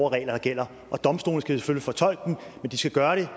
og regler der gælder domstolene skal selvfølgelig fortolke dem men de skal gøre det